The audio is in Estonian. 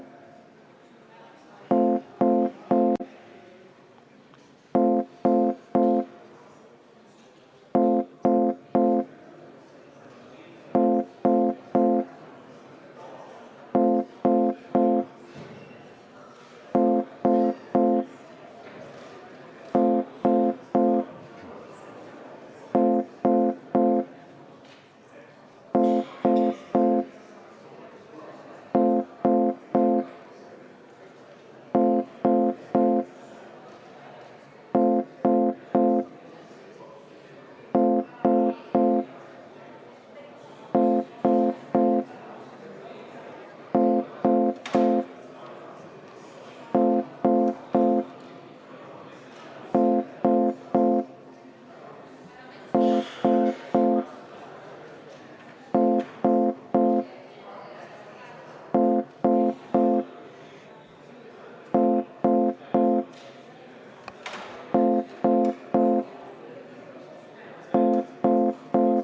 V a h e a e g